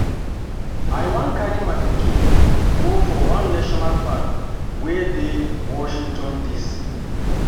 I wan wan carry my pikin go for one national park wey dey Washington D.C